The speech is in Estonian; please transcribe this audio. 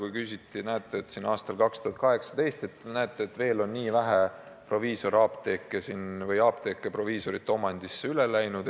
Nimelt viidati, et näete, aastal 2018 on nii vähe apteeke proviisorite omandisse üle läinud.